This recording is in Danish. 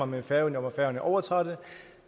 med færøerne hvor færøerne overtager det